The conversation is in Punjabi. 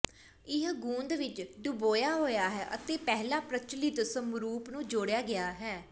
ਇਹ ਗੂੰਦ ਵਿੱਚ ਡੁਬੋਇਆ ਹੋਇਆ ਹੈ ਅਤੇ ਪਹਿਲਾਂ ਪ੍ਰਚਲਿਤ ਸਮਰੂਪ ਨੂੰ ਜੋੜਿਆ ਗਿਆ ਹੈ